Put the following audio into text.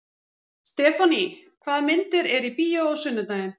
Stefánný, hvaða myndir eru í bíó á sunnudaginn?